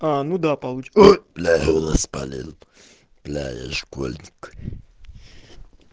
ну да блин с полезным для школьника